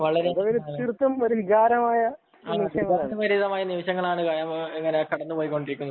അത് തീർത്തും വികാരപരമായ നിമിഷങ്ങളിലൂടെയാണ് കടന്നുപോയിക്കൊണ്ടിരിക്കുന്നത്